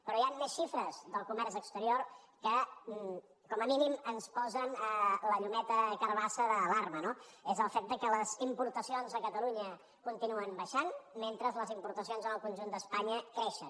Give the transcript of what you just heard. però hi han més xifres del comerç exterior que com a mínim ens posen la llumeta carbassa d’alarma no és el fet que les importacions a catalunya continuen baixant mentre les importacions en el conjunt d’espanya creixen